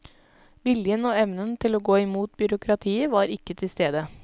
Viljen og evnen til å gå imot byråkratiet var ikke til stede.